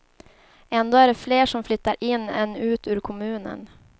Ändå är det fler som flyttar in än ut ur kommunen.